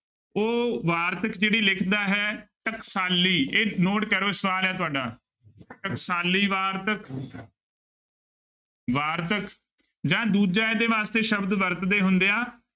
ਉਹ ਵਾਰਤਕ ਕਿਹੜੀ ਲਿਖਦਾ ਹੈ ਟਕਸਾਲੀ ਇਹ note ਕਰੋ ਸਵਾਲ ਹੈ ਤੁਹਾਡਾ ਟਕਸਾਲੀ ਵਾਰਤਕ ਵਾਰਤਕ ਜਾਂ ਦੂਜਾ ਇਹਦੇ ਵਾਸਤੇ ਸ਼ਬਦ ਵਰਤਦੇ ਹੁੰਦੇ ਆ